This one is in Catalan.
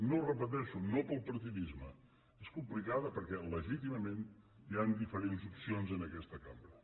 ho repeteixo no pel partidisme és complicada perquè legítimament hi han diferents opcions en aquesta cambra